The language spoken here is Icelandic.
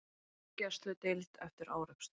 Á gjörgæsludeild eftir árekstur